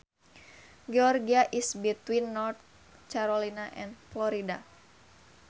Georgia is between North Carolina and Florida